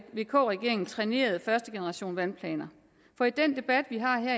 vk regeringen trænerede første generation af vandplaner for i den debat vi har her